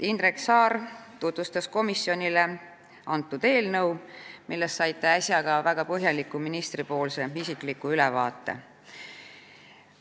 Indrek Saar tutvustas komisjonile eelnõu, millest saite äsja ka väga põhjaliku isikliku ülevaate ministrilt.